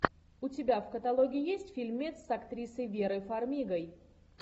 у тебя в каталоге есть фильмец с актрисой верой фармигой